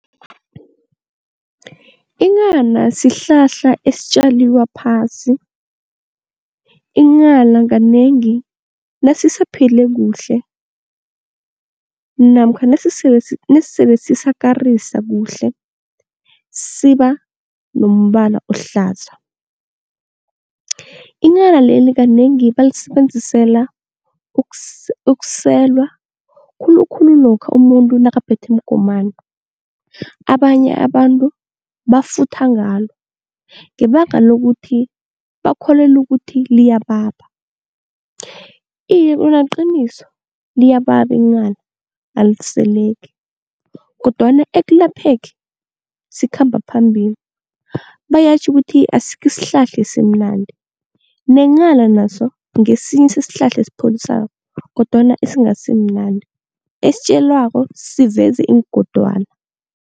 Inghana sihlahla esitjaliwa phasi, inghana kanengi nasisaphile kuhle namkha nasele sisakarisa kuhle siba nombala ohlaza. Inghana leli kanengi balisebenzisela ukuselwa khulukhulu lokha umuntu nakaphethwe mgomani. Abanye abantu bafutha ngalo ngebanga lokuthi bakholelwa ukuthi liyababa. Iye khona liqiniso, liyababa inghana aliseleki kodwana ekulapheni sikhamba phambili. Bayatjho ukuthi asikho isihlahla esimnandi nenghana naso ngesinye sesihlahla esipholisako kodwana esingasimnandi, esitjalwako siveze iingondwana.